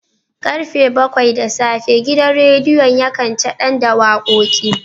Karfe bakwai da safe gidan radiyon yakan chadan da wakoki